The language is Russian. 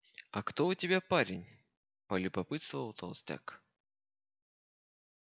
а кто у тебя парень полюбопытствовал толстяк